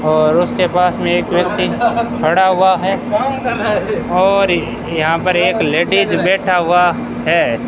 और उसके पास में एक व्यक्ति खड़ा हुआ है और यहां पर एक लेडिज बैठा हुआ है।